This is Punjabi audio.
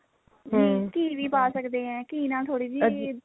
ਘੀ ਵੀ ਪਾ ਸਕਦੇ ਐ ਘੀ ਨਾਲ ਥੋੜੀ ਜੀ